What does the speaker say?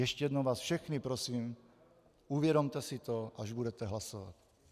Ještě jednou vás všechny prosím, uvědomte si to, až budete hlasovat.